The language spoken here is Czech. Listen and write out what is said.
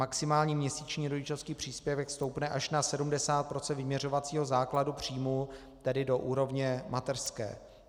Maximální měsíční rodičovský příspěvek stoupne až na 70 % vyměřovacího základu příjmu, tedy do úrovně mateřské.